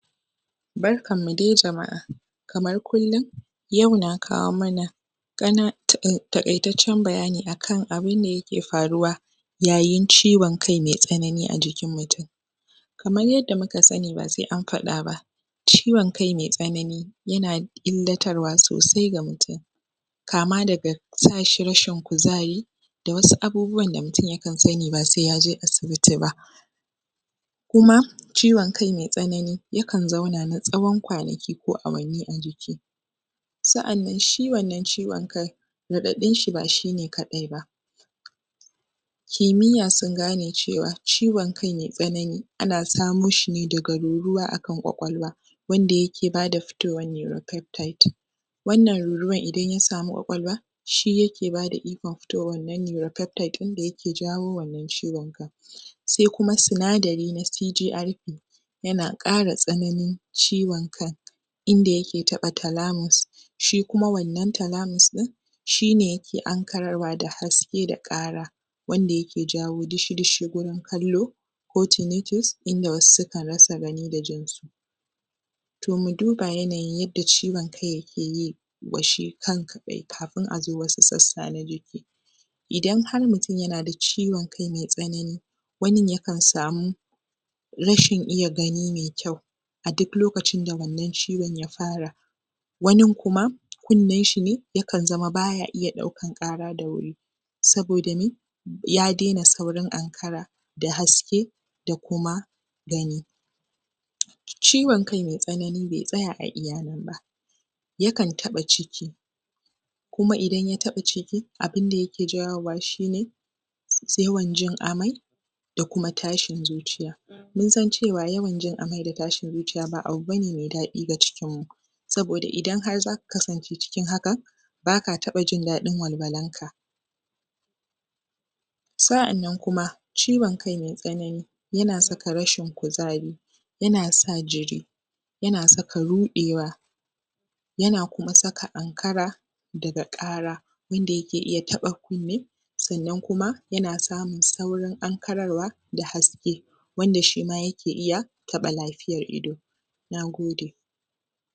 Barkan mu dai jama'a, kamar kullum, yau na kawo mana takaitaccen bayani akan abun da yake faruwa yayin ciwon kai mai tsanani a jikin mutum.. Kamar yanda muka sani basai an faɗa ba ciwon kai mai tsanani yana illatarwa sosai ga mutum kama da ga sashi rashin kuzari da wasu abubuwa abun da mutum yakan sani ba sai yaje asibiti ba.. Kuma ciwon kai mai tsanani yakan zauna ne tsawon kwanaki ko awanni a jiki. Sa'anan shi wannan ciwon kai, raɗaɗin shi ba shi ne kaɗai ba.. Kimiyya sun gano cewa,, ciwon kai mai tsanani ana samo shi ne daga ruruwa akan ƙwaƙwalwa wanda yake bada fitowar neuropeptide,, wannan ruruwar idan ya sami ƙwaƙwalwa,, shi yake bada ikon fitowar neuropeptide ɗin nan da yake jawo wannan ciwon kai kai sai kuma sinadari na CDRP yana ƙara tsananin ciwon kan, idan yake taɓa talamus. Shi kuma wannan talamus ɗin,, shi ne yake ankararwa da haske da ƙara wanda yake jawo dushu dushu gurin kallo tunatus, idan wasu sukan rasa gani da jinsu. To mu duba yanayi yadda ciwon kai yake yi yi wa shi kan kaɗai kafin a zo wasu sassa na jiki. Idan har mutum yana da ciwon kai mai tsanani, wanin yakan samu rashin iya gani mai kyau a duk lokacin da wannan ciwon ya fara wanin kuma,, kunnen shi ne yakan zama baya iya daukan wannan ƙara da wuri saboda mai, ya daina saurin ankara, da haske da kuma gani Ciwon kai mai tsanani bai tsaya iya nan ba, yakan taɓa ciki, kuma idan ya taba ciki, abin da yake jawowa shi ne,, yawan jin amai da kuma tashin zuciya. da kuma tashin zuciya.. Mun san cewa jin amai da tashin zuciya ba abu bane mai dadi ga cikin mu, saboda idan har zaka kasance cikin haka,, baka taɓa jin daɗin walwalan ka. Sa'annan kuma, ciwon kai mai tsanani yana saka rashin kuzari, yana sa jiri,, yana saka ruɗewa, yana kuma saka ankara daga ƙara ƙara inda yake taɓa kunne, sannan kuma yana samun saurin ankararwa da haske, wanda shima yake iya taɓa lafiya ta ido. Nagode